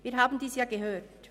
Dies haben wir ja gehört.